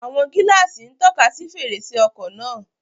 Àwọn gíláàsì ń tọ́ka sí fèrèsé ọkọ̀ náà